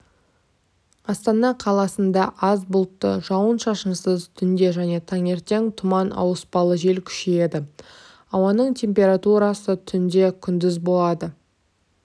астана қаласында аз бұлтты жауын-шашынсыз түнде және таңертең тұман ауыспалы жел күшейеді ауаның температурасы түнде күндіз болады